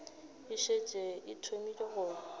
e šetše e thomile go